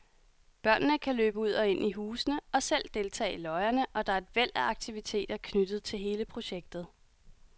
Børnene kan løbe ud og ind i husene og selv deltage i løjerne, og der er et væld af aktiviteter knyttet til hele projektet.